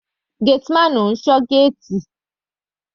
Gateman máa ń ṣọ́ géètì.